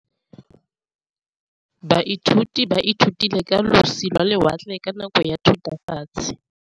Baithuti ba ithutile ka losi lwa lewatle ka nako ya Thutafatshe.